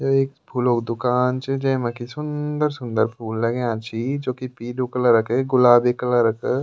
य एक फूलो क दूकान च जेमा की सुन्दर-सुन्दर फूल लग्याँ छि जोकि पीलू कलर क गुलाबी कलर क --